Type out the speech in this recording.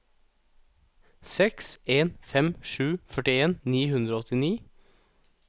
seks en fem sju førtien ni hundre og åttini